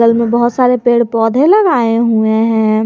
बहुत सारे पेड़ पौधे लगाए हुए हैं।